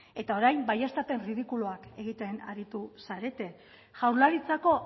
eta orain baieztapen erridikuluak egiten aritu zarete jaurlaritzako